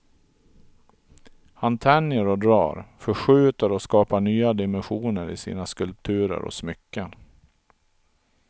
Han tänjer och drar, förskjuter och skapar nya dimensioner i sina skulpturer och smycken.